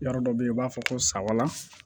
Yɔrɔ dɔ bɛ yen u b'a fɔ ko sawa